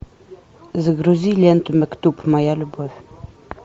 загрузи ленту мектуб моя любовь